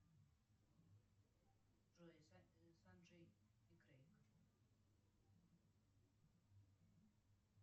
джой санджей и крейг